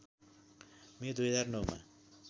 मे २००९ मा